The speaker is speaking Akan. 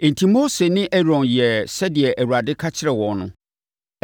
Enti, Mose ne Aaron yɛɛ sɛdeɛ Awurade kyerɛɛ wɔn no.